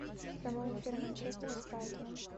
прямой эфир манчестера с брайтоном